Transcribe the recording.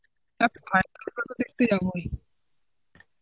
হ্যাঁ final খেলা তো দেখতে যাবোই.